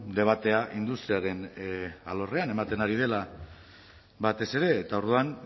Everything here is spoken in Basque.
debatea industriaren alorrean ematen ari dela batez ere eta orduan